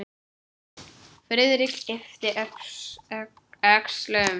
Friðrik yppti öxlum.